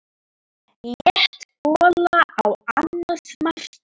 Létt gola á annað markið.